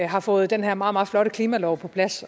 har fået den her meget meget flotte klimalov på plads